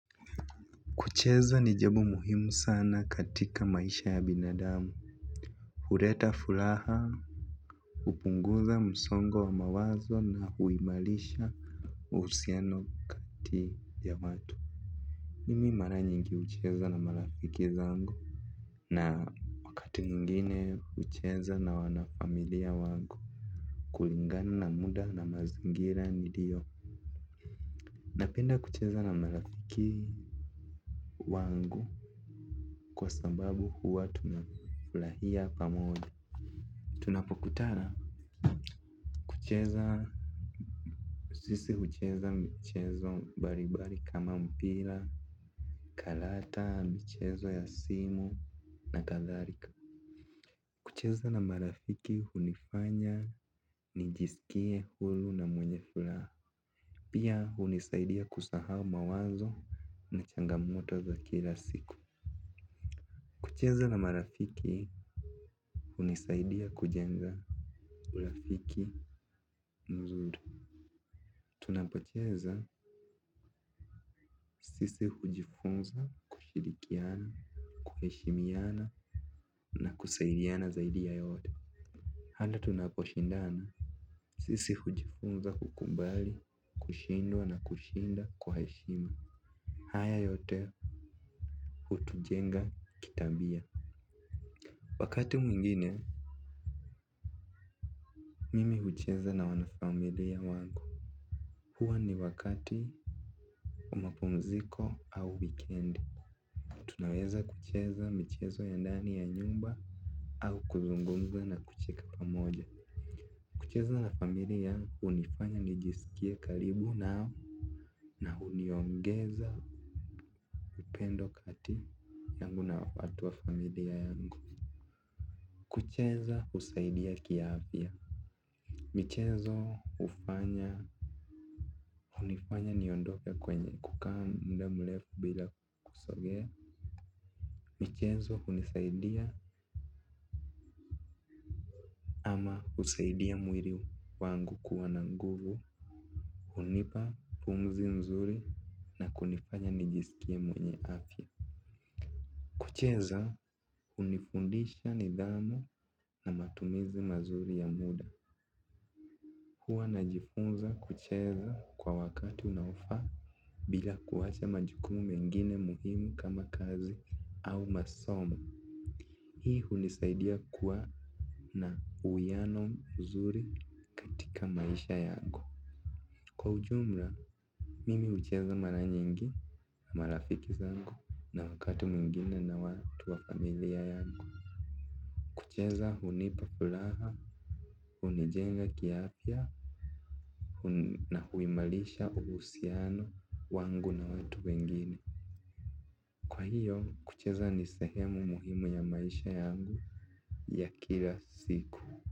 Kucheza ni jabo muhimu sana katika maisha ya binadamu. Hureta fulaha, upunguza msongo wa mawazo na huimalisha usiano kati ya watu. Mimi mara nyingi ucheza na marafiki zangu na wakati mwingine ucheza na wanafamilia wangu. Kulingana na muda na mazingira nilio. Napenda kucheza na marafiki wangu kwa sababu huwa tunafulahia pamoja. Tunapokutana kucheza sisi hucheza mchezo balibali kama mpila kalata mchezo ya simu na katharika. Kucheza na marafiki hunifanya nijisikie hulu na mwenye fulaha. Pia hunisaidia kusahau mawazo na changamoto za kila siku. Kucheza na marafiki hunisaidia kujenga urafiki mzuri. Tunapocheza sisi hujifunza kushirikiana, kuheshimiana na kusaidiana zaidi ya yote handi tunaposhindana sisi hujifunza kukumbali, kushindwa na kushinda kwa heshima. Haya yote hutujenga kitabia. Wakati mwingine, mimi hucheza na wanafamilia wangu. Hua ni wakati wa mapumziko au weekend. Tunaweza kucheza michezo ya ndani ya nyumba au kuzungumza na kucheka pamoja. Kucheza na familia unifanya nijisikie kalibu nao na uniongeza upendo kati yangu na watu wa familia yangu. Kucheza usaidia kiafya. Michezo ufanya. Unifanya niondoke kwenye kukaa muda mlefu bila kusogea. Michezo unisaidia usaidia mwili wangu kuwa na nguvu. Unipa pumzi mzuri na kunifanya nijisikie mwenye afya. Kucheza unifundisha nidhamu na matumizi mazuri ya muda huwa najifunza kucheza kwa wakati unaofaa bila kuwacha majukumu mengine muhimu kama kazi au masomo. Hii unisaidia kuwa na uwiano mzuri katika maisha yangu. Kwa ujumla, mimi ucheza maranyingi na marafiki zangu na wakati mwingine na watu wa familia yangu. Kucheza unipa fulaha, unijenga kiafya na huimalisha uhusiano wangu na watu wengine. Kwa hiyo kucheza ni sehemu muhimu ya maisha yangu ya kila siku.